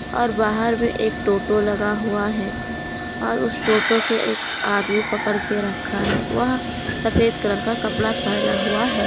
और बाहर में एक टोटो लगा हुआ है और उस टोटो के एक आदमी पकड़ के रखा हुआ है वह सफेद कलर का कपड़ा पहना हुआ है।